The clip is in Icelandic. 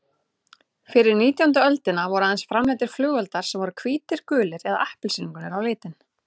Fyrir nítjándu öldina voru aðeins framleiddir flugeldar sem voru hvítir, gulir eða appelsínugulir á litinn.